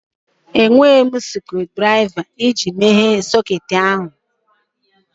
Enweghị m screwdrịva iji meghee socketị ahụ